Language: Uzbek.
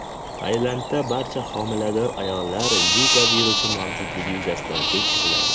Tailandda barcha homilador ayollar Zika virusi mavjudligi yuzasidan tekshiriladi.